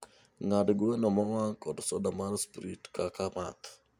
ng'ad gweno mowang' kod soda mar sprit kaka math